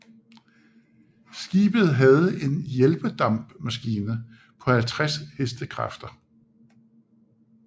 Skibet havde en hjælpedampmaskine på 50 HK